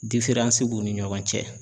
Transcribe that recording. b'u ni ɲɔgɔn cɛ